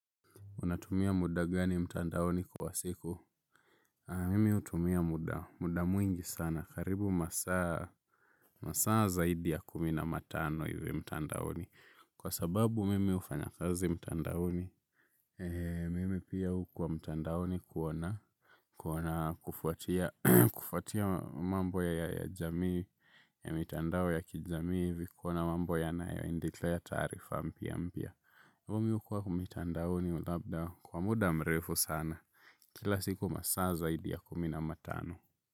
Unatumia muda gani mtandaoni kwa siku? Mimi hutumia muda. Muda mwingi sana. Karibu masaa masaa zaidi ya kumi na matano hivi mtandaoni. Kwa sababu mimi hufanya kazi mtandaoni. Mimi pia hukuwa mtandaoni kuona. Kuona kufuatia mambo ya jamii ya mitandao ya kijamii hivi kuona mambo yanayo endelea taarifa mpya mpya. Mimi hukua kwa mitandaoni labda kwa muda mrefu sana. Kila siku masaa zaidi ya kumi na matano.